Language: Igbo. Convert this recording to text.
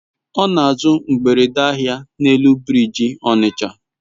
ona azu mgbere ahia n'elu biriji Onitsha